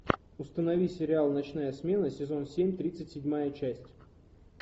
установи сериал ночная смена сезон семь тридцать седьмая часть